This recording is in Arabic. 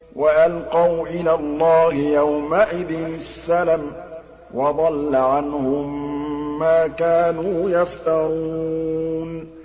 وَأَلْقَوْا إِلَى اللَّهِ يَوْمَئِذٍ السَّلَمَ ۖ وَضَلَّ عَنْهُم مَّا كَانُوا يَفْتَرُونَ